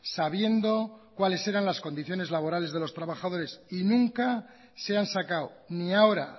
sabiendo cuáles eran las condiciones laborales de los trabajadores y nunca se han sacado ni ahora